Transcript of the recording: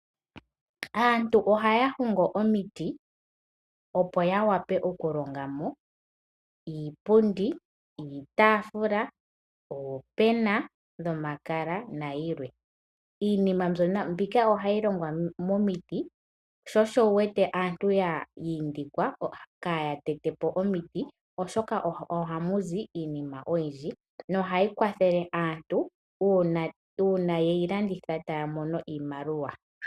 Aantu ohaya hongo omiti opo ya vule okulonga mo iipundi, iitaafula, oopena dhomakala nayilwe. Iinima mbika ohayi hongwa momiti sho osho wuwete aantu yiindikwa opo kaaya tete po omiti oshoka ohamuzi iinima oyindji nohayi kwathele aantu uuna ye yilanditha po tamuzi iimaliwa.